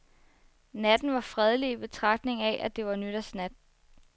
Natten var fredelig i betragtning af, at det var nytårsnat.